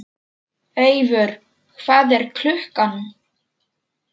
Eivör, hvað er klukkan?